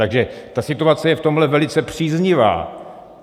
Takže ta situace je v tomhle velice příznivá.